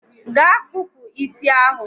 gaa kpụpụ isi ahụ!